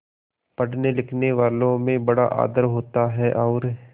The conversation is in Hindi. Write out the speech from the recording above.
पढ़नेलिखनेवालों में बड़ा आदर होता है और